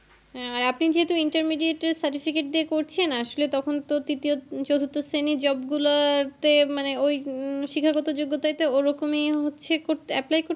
আর আপনি যেহেতু intermediate এর certificate করছেন আসলে তখন তো তৃতীয় চতুর্থ শ্রেণীর job গুলো তে মানে ওই হম শিক্ষাগত যোগ্যতায় তো ওরকম ইয়ে হচ্ছে apply করতে